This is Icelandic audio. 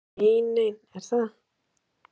Davíð Reynisson: Nei nein, er það?